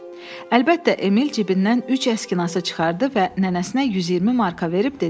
Əlbəttə, Emil cibindən üç əskinası çıxardı və nənəsinə 120 marka verib dedi.